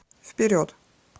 вперед